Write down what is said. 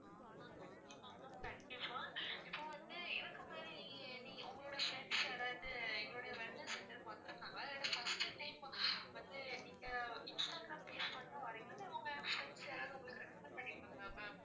கண்டிப்பா ma'am கண்டிப்பா இப்போ வந்து இதுக்கு முன்னாடி நீங்க உங்களோட friends யாராவது எங்களோட wellness center க்கு வந்திருக்காங்களா இல்லன்னா first time வந்து நீங்க instagram page பாத்துதான் வர்றீங்களா இல்ல உங்க friends யாராவது உங்களுக்கு recommend பண்ணி இருக்காங்களா ma'am